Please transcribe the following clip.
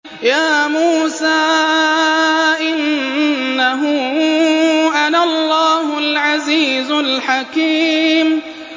يَا مُوسَىٰ إِنَّهُ أَنَا اللَّهُ الْعَزِيزُ الْحَكِيمُ